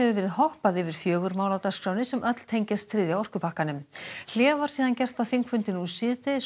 verið hoppað yfir fjögur mál á dagskránni sem öll tengjast þriðja orkupakkanum hlé var gert á þingfundi síðdegis